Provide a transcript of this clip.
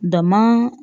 Dama